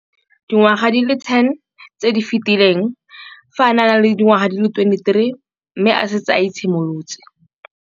Dingwaga di le 10 tse di fetileng, fa a ne a le dingwaga di le 23 mme a setse a itshimoletse.